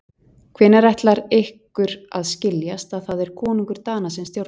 Hvenær ætlar ykkur að skiljast að það er konungur Dana sem stjórnar.